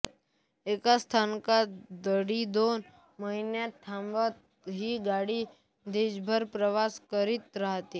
एका स्थानकात दीडदोन महिने थांबत ही गाडी देशभर प्रवास करीत राहते